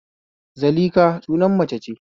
Zalikha suna mace ce